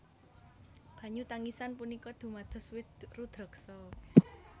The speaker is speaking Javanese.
Banyu tangisan punika dumados wit rudraksa